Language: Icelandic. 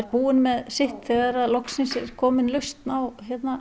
búinn með sitt þegar loksins er komin lausn á